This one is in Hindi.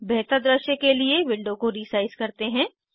बेहतर दृश्य के लिए विंडो को रीसाइज़ करते हैं